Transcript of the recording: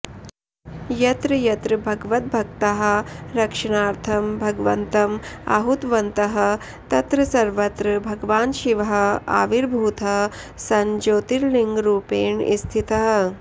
यत्र यत्र भगवद्भक्ताः रक्षणार्थं भगवन्तम् आहूतवन्तः तत्र सर्वत्र भगवान् शिवः आविर्भूतः सन् ज्योतिर्लिङ्गरूपेण स्थितः